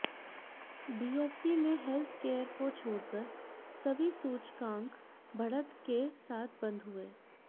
BSE में healthcare को छोड़कर सभी सूचकांक बढ़त के साथ बंद हुए